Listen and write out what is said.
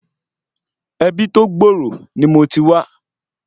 Ebi tó gbòòrò ni mo ti wá